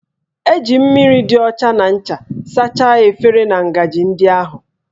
E ji mmiri dị ọcha na ncha sachaa efere na ngaji ndị ahụ